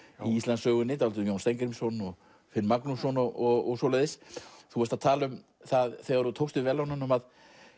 í Íslandssögunni dálítið um Jón Steingrímsson og Finn Magnússon og svoleiðis þú varst að tala um það þegar þú tókst við verðlaununum að